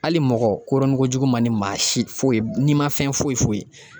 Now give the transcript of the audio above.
Ali mɔgɔ koronkojugu man di maa si foyi nin ma fɛn foyi foyi